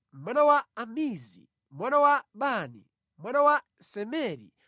mwana wa Amizi, mwana wa Bani, mwana wa Semeri,